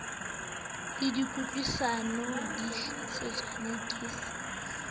le kutlwisisano dihlotshwaneng ke se